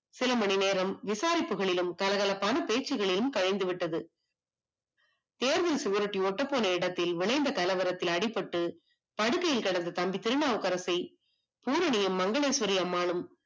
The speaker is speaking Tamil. சிலமணிநேரம் விசாரிப்புகளிலும் கலகலப்பான பேச்சுகளிலும் கரைத்து விட்டது. தேர்வின் சுவரொட்டி ஒட்டப்போன இடத்தில் விளைந்த கலவரத்துல அடிபட்டு படுக்கையில் கிடந்த தம்பி திருநாவுக்கரசை பூரணியும் மங்களேஸ்வரிஅம்மாளும்